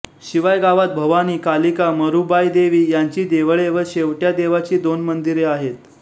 शिवाय गावात भवानी कालिका मरुबाय देवी यांची देवळे व शेवट्या देवाची दोन मंदिरे आहेत